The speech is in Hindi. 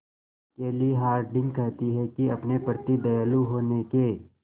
केली हॉर्डिंग कहती हैं कि अपने प्रति दयालु होने के